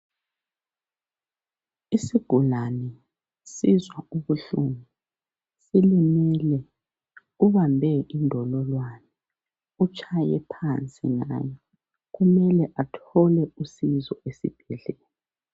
Isigulane, sizwa ubuhlungu. Ulimele, ubambe indololwane utshaye phansi ngayo. Kumele athole usizo esibhedlela.